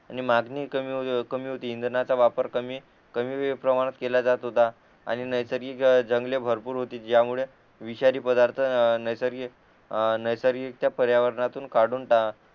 आणि मांगणी कमी कमी होती इंधनाचा वापर कमी कमी प्रमाणात केला जात होता आणि नैसर्गिक जंगले भरपूर होती ज्यामुळे विषारी पदार्थ नैसर्गिक अ नैसर्गिक पर्यावरणातून काढून टाकले